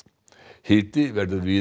hiti verður víða